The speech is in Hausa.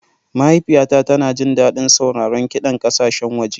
Mahaifiyata tana jin daɗin sauraron kiɗan ƙasashen waje.